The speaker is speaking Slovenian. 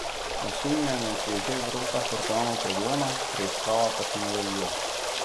Osumljenec je že v rokah organov pregona, preiskava pa se nadaljuje.